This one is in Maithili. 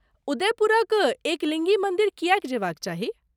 उदयपुरक एकलिङ्गी मन्दिर किएक जयबाक चाही?